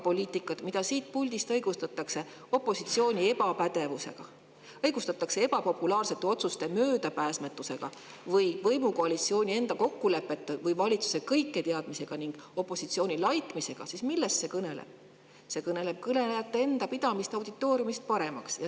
Poliitika, mida siit puldist õigustatakse opositsiooni ebapädevusega, ebapopulaarsete otsuste möödapääsmatusega, võimukoalitsiooni kokkulepete või valitsuse kõiketeadmisega ning opositsiooni laitmisega, kõneleb sellest, et kõnelejad peavad end auditooriumist paremaks.